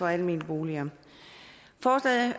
almene boliger forslaget